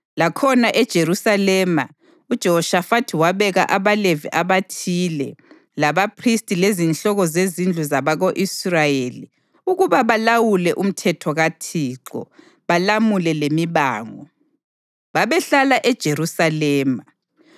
Lakhona eJerusalema, uJehoshafathi wabeka abaLevi abathile labaphristi lezinhloko zezindlu zabako-Israyeli ukuba balawule umthetho kaThixo balamule lemibango. Babehlala eJerusalema.